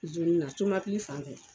na fanfɛ